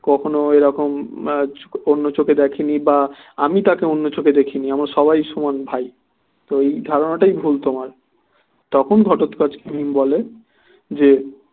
কখনও এরকম অন্য চোখে দেখে নি বা আমি তাকে অন্য চোখে দেখি নি আমরা সবাই সমান ভাই তো এই ধারণা টাই ভুল তোমার তখন ঘটোৎকচ বলে যে